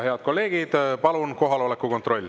Head kolleegid, palun kohaloleku kontroll.